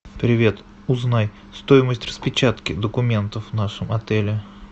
привет узнай стоимость распечатки документов в нашем отеле